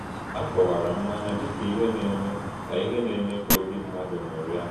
A kọ̀wárà mmànỳà dị ka íhè “na-ème ka íhè “na-ème kà òbì mmádụ ṅụ́ríà.”